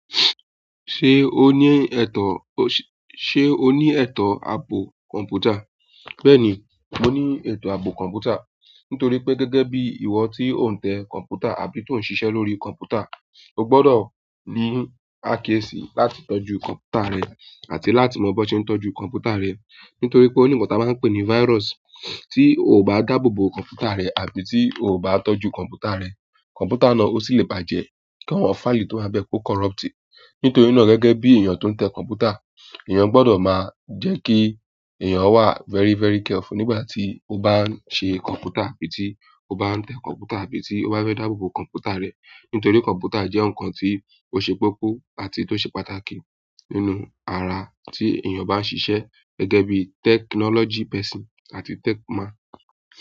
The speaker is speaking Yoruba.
Ṣé o ní ètò, ṣé, ṣé o ní ètò ààpò kọ̀m̀pútà? Bẹ́ẹ̀ ni, mo ní ètò ààpò kọ̀m̀pútà. Nítorí pé gẹ́gẹ́ bí ìwọ tí ò ń tẹ kọ̀m̀pútà àbí tó ń ṣiṣẹ́ lórí kọ̀m̀pútà, o gbọdọ̀ ní àáké sí láti tọ́jú kọ̀m̀pútà rẹ àti láti mọ bí wọ́n ṣe ń tọ́jú kọ̀m̀pútà rẹ. Nítorí pé oní nkan tí a máa ń pè ní virus tí o bá dáàbòbò kọ̀m̀pútà rẹ àbí tí o bá tọ́jú kọ̀m̀pútà rẹ, kọ̀m̀pútà náà o sì le bàjẹ́ kí àwọn fáìlì tó wà bẹ kó corrupt. Nítorí náà gẹ́gẹ́ bí èèyàn tó ń tẹ kọ̀m̀pútà, èèyàn gbọdọ̀ máa jẹ́ kí èèyàn wà very, very careful nígbà tí ó bá ń ṣe kọ̀m̀pútà àbí tí ó bá ń tẹ kọ̀m̀pútà àbí tí ó bá fẹ́ dáàbòbò kọ̀m̀pútà rẹ̀. Nítorí kọ̀m̀pútà jẹ́ nǹkan tí ó ṣe kokọ́ àti tó ṣe pàtàkì nínú ara tí èèyàn bá ń ṣiṣẹ́ gẹ́gẹ́ bí technology àti tech ma.